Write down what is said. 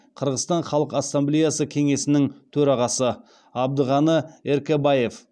қырғызстан халық ассамблеясы кеңесінің төрағасы абдығаны эркэбаев